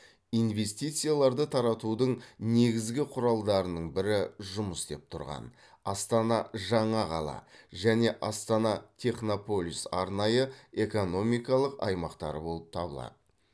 инвестицияларды тартудың негізгі құралдарының бірі жұмыс істеп тұрған астана жаңа қала және астана технополис арнайы экономикалық аймақтары болып табылады